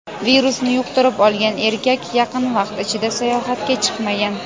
virusni yuqtirib olgan erkak yaqin vaqt ichida sayohatga chiqmagan.